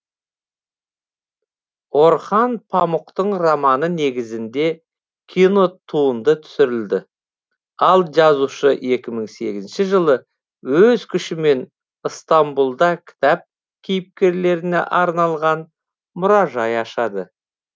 орхан памұқтың романы негізінде кинотуынды түсірілді ал жазушы екі мың сегізінші жылы өз күшімен ыстамбұлда кітап кейіпкерлеріне арналған мұражай ашады